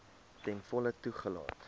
ten volle toegelaat